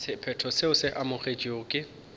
sephetho seo se amogetšwego ke